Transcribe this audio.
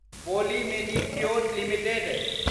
poli Medicure limited